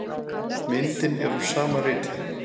Myndin eru úr sama riti.